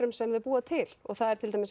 sem þau búa til og það er til dæmis